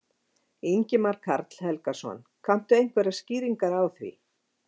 Ingimar Karl Helgason: Kanntu einhverjar skýringar á því?